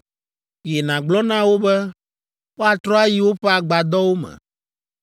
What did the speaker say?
“Yi, nàgblɔ na wo be, woatrɔ ayi woƒe agbadɔwo me.